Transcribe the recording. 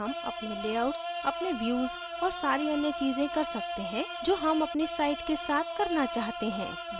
अब हम अपने layouts अपने views और सारी अन्य चीज़ें कर सकते हैं जो हम अपनी site के साथ करना चाहते हैं